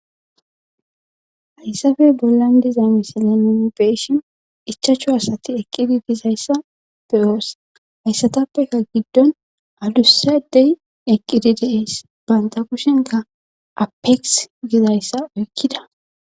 Haysape bolan diza missile bee'shin ichachu asati eqidi dizaysa be'os heysatapeka gidon adusa adey eqidi dees banta kushenka apex gizaysa oykida.